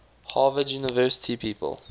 harvard university people